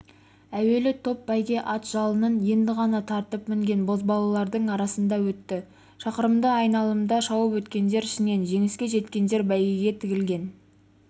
әуелі топ бәйге ат жалынын енді ғана тартып мінген бозбалалардың арасында өтті шақырымды айналымда шауып өткендер ішінен жеңіске жеткендер бәйгеге тігілген